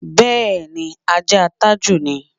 Bé̩è̩ni, ajáa Tájù ni.